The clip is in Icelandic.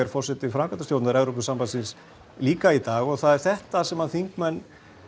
forseti framkvæmdastjórnar Evrópusambandsins líka í dag og það er þetta sem þingmenn